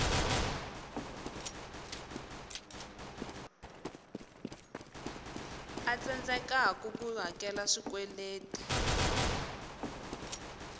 a tsandzekaku ku hakela swikweletu